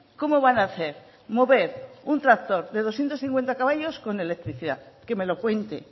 como van a hacer mover un tractor de doscientos cincuenta caballos con electricidad que me lo cuente